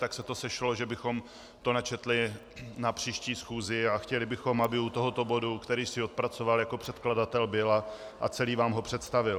Tak se to sešlo, že bychom to načetli na příští schůzi, a chtěli bychom, aby u tohoto bodu, který si odpracoval jako předkladatel, byl a celý vám ho představil.